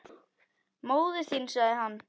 Móðir þín sagði hann.